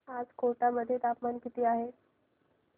आज कोटा मध्ये तापमान किती आहे